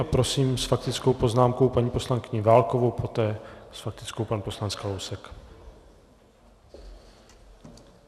A prosím s faktickou poznámkou paní poslankyni Válkovou, poté s faktickou pan poslanec Kalousek.